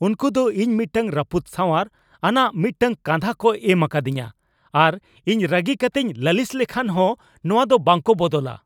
ᱩᱱᱠᱩ ᱫᱚ ᱤᱧ ᱢᱤᱫᱴᱟᱝ ᱨᱟᱹᱯᱩᱫ ᱥᱟᱣᱟᱨ ᱟᱱᱟᱜ ᱢᱤᱫᱴᱟᱝ ᱠᱟᱸᱫᱷᱟ ᱠᱚ ᱮᱢ ᱟᱠᱟᱫᱤᱧᱟ ᱟᱨ ᱤᱧ ᱨᱟᱹᱜᱤ ᱠᱟᱹᱛᱮᱧ ᱞᱟᱹᱞᱤᱥ ᱞᱮᱠᱷᱟᱱ ᱦᱚᱸ ᱱᱚᱶᱟ ᱫᱚ ᱵᱟᱝᱠᱚ ᱵᱚᱫᱚᱞᱟ ᱾